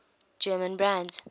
german brands